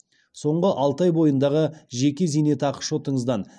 соңғы алты ай бойындағы жеке зейнетақы шотыңыздан